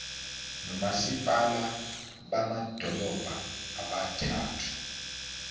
nomasipala bamadolobha abathathu